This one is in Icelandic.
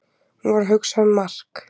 Hún var að hugsa um Mark.